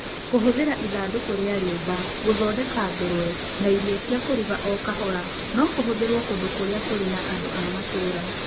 Kũhũthĩra ithandũkũ cia rĩũmba gũthondeka ngũrwe na irio cia kũruga o kahora no kũhũthĩrũo kũndũ kũrĩa kũrĩ andũ a matũũra.